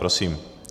Prosím.